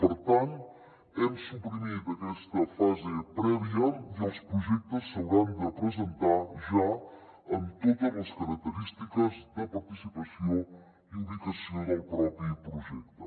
per tant hem suprimit aquesta fase prèvia i els projectes s’hauran de presentar ja amb totes les característiques de participació i ubicació del propi projecte